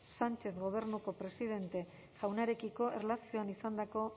sánchez gobernuko presidente jaunarekiko erlazioan izandako